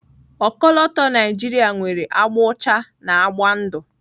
Ọkọlọtọ Naijiria nwere agba ụcha na akwụkwọ ndụ.